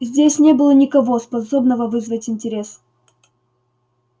здесь не было никого способного вызвать интерес